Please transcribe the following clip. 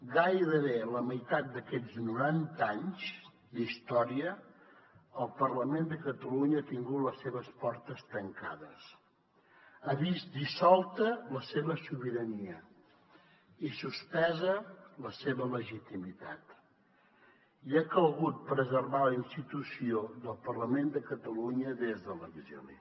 gairebé la meitat d’aquests noranta anys d’història el parlament de catalunya ha tingut les seves portes tancades ha vist dissolta la seva sobirania i suspesa la seva legitimitat i ha calgut preservar la institució del parlament de catalunya des de l’exili